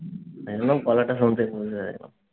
আমি বললাম গলাটা শুনতেই